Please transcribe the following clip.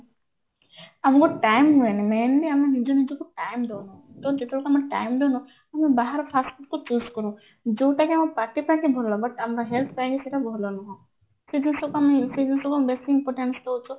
ଆମକୁ time ହୁଏନି mainly ଆମେ ନିଜେ ନିଜକୁ ଟାଇମ ଦଉନୁ ତ ଯେତେବେଳକୁ ଆମେ time ଦଉନୁ ଆମେ ବାହାର fast food କୁ choose କରୁ ଯୋଉଟା କି ଆମ ପାଟି ପାଇଁକି ଭଲ but ଆମ health ପାଇଁ ସେଇଟା ଭଲ ନୁହଁ କିନ୍ତୁ ସେଇଟା ସେଇ ଜିନିଷ ଟା ଆମେ ବେସୀ importance ଦଉଛୁ